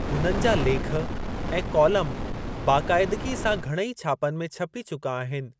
हुननि जा लेख ऐं कॉलम बाक़ाइदिगी सां घणेई छापनि में छपी चुका आहिनि।